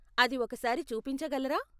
అది ఒకసారి చూపించగలరా?